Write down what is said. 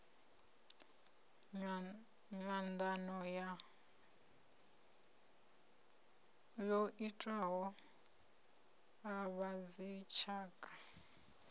nyanḓano yo itiwaho a vhadzitshaka